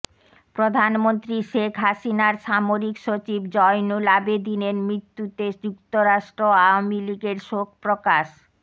প্রধানমন্ত্রী শেখ হাসিনার সামরিক সচিব জয়নুল আবেদীনের মৃত্যুতে যুক্তরাষ্ট্র আওয়ামী লীগের শোক প্রকাশ